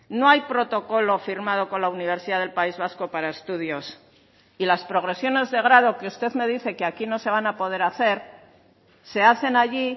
no hay protocolo firmado con la universidad del país vasco para estudios y las progresiones de grado que usted me dice que aquí no se van a poder hacer se hacen allí